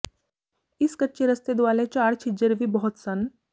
ਇਸ ਕੱਚੇ ਰਸਤੇ ਦੁਆਲੇ ਝਾੜ ਛਿੱਛਰ ਵੀ ਬਹੁਤ ਸਨ